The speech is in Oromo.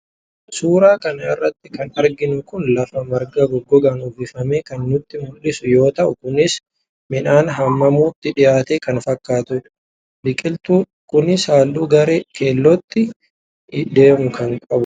Suuraa kana irratti kan arginu Kun lafa marga gogaadhaan uwwifame kan nutti mul'isu yoo ta'u kunis midhaan haamamuutti dhiyaate kan fakkatudha. Biqiltuu. Kunis halluu gara keellootti deemu kan qabu dha.